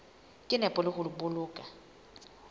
ka nepo le ho boloka